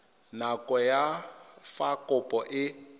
nako ya fa kopo e